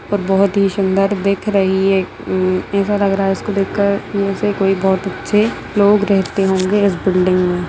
पर बहुत ही सुंदर दिख रही है हम्म ऐसा लग रहा है इसको देख कर यहाँ से कोई बहुत अच्छे लोग रहेते होंगे इस बिल्डिंग में।